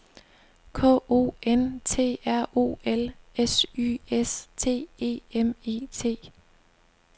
K O N T R O L S Y S T E M E T